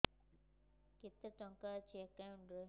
କେତେ ଟଙ୍କା ଅଛି ଏକାଉଣ୍ଟ୍ ରେ